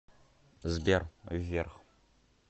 сбер вверх